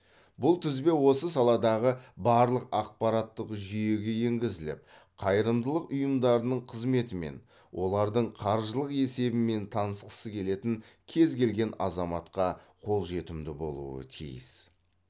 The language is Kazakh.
бұл тізбе осы саладағы барлық ақпараттық жүйеге енгізіліп қайырымдылық ұйымдарының қызметімен олардың қаржылық есебімен танысқысы келетін кез келген азаматқа қолжетімді болуы тиіс